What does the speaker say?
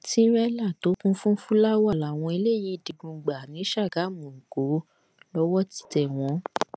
tìrẹlà tó kún fún fúláwá làwọn eléyìí digun gbà ni sàgámù èkó lowó ti tẹ wọn